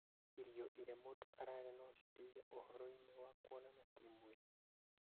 Irio iria mũndũ ararĩa no citeithie ũhoro-inĩ wa kuonana kĩmwĩrĩ ?